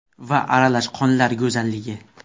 va Aralash qonlar go‘zalligi .